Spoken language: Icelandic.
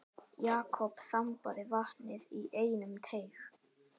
Jakob þambaði vatnið í einum teyg.